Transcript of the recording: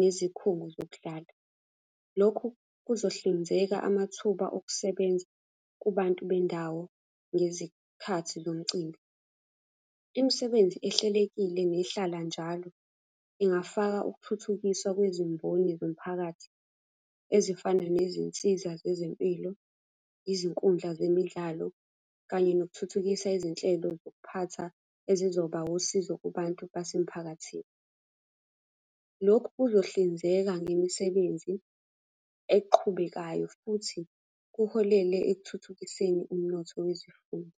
nezikhungo zokudlala. Lokhu kuzohlinzeka amathuba okusebenza kubantu bendawo ngezikhathi zomcimbi. Imisebenzi ehlelekile nehlala njalo, ingafaka ukuthuthukisa kwezimboni zomphakathi ezifana nezinsiza zezempilo, izinkundla zemidlalo, kanye nokuthuthukisa izinhlelo zokuphatha ezizoba usizo kubantu basemphakathini. Lokhu kuzohlinzeka ngemisebenzi eqhubekayo futhi kuholele ekuthuthukiseni umnotho wezifundo.